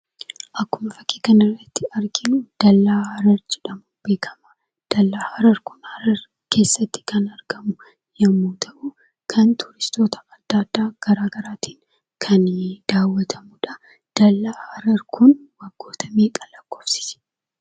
Akkuma fakkii kana irratti arginu dallaa Harar jedhamuun beekama. Dallaan Harar kun Harar keessatti kan argamu yemmuu ta'u kan turistoota adda addaa garaa garaatiin kan daawwatamudha. Dallaan Harar kun waggoota meeqa lakkoofsise?